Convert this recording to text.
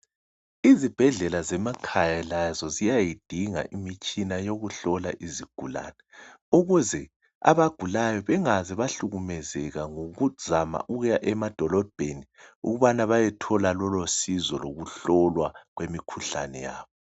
Izibhedlela zemakhaya lazo ziyayidinga imitshina yokuhlola izigulani, ukuze abagulayo bangaze bahlukumezeka ngokuzama ukuya emadolobheni ukubana bayethola lolo sizo lokuhlolwa imikhuhlane yabo.